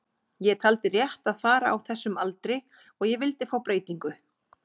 Ég taldi rétt að fara á þessum aldri og ég vildi fá breytingu.